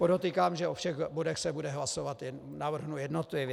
Podotýkám, že o všech bodech se bude hlasovat, navrhnu jednotlivě.